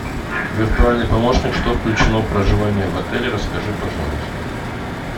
виртуальный помощник что включено в проживание в отеле расскажи пожалуйста